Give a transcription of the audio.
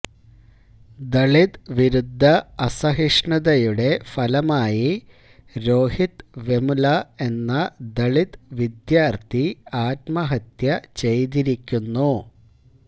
ദളിത് വിരുദ്ധ അസഹിഷ്ണുതയുടെ ഫലമായി രോഹിത് വെമുല എന്ന ദളിത് വിദ്യാര്ഠി ആത്മഹത്യ ചെയ്തിരിക്കുന്നു